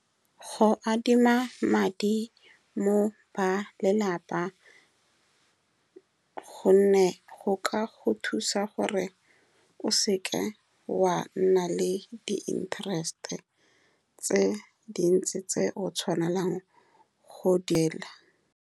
Go adima madi mo go ba lelapa ka gonne go ka go thusa gore o seka wa nna le di-interest-e tse dintsi, tseo tshwanelang go .